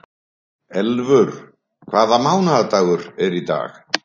Elfur, hvaða mánaðardagur er í dag?